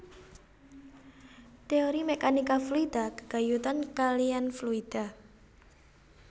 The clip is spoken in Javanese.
Téori mèkanika fluida gégayutan kaliyan fluida